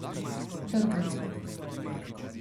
Trde so.